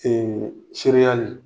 sereyali